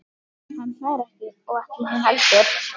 Nei, ég hélt aldrei að þið hefðuð gleymt neinu.